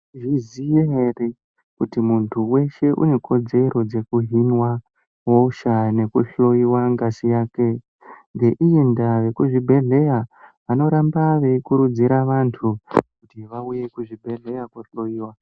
...zviziya ere kuti muntu weshe unekodzero dzekuhinwa hosha nekuhloyiwa ngazi yake. Ngeiyi ndaa vekuzvibhehleya vanoramba veikurudzira vantu kuti vauye kuzvibhedhleya koohloyiwa.